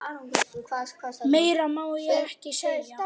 Meira má ég ekki segja.